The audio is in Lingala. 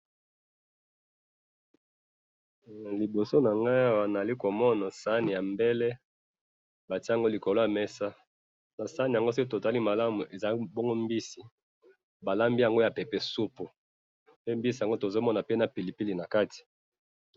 liboso na ngai awa nazali komona sani ya mbele, batie yango na likolo ya mesa, na sani yango soki to tali malamu eza bongo mbisi, ba lambi yango ya pepesupu, pe mbisi yango tozomona pe na pili pili na kati